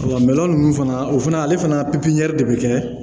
Wala ninnu fana o fana ale fana pipiɲiɲɛri de bɛ kɛ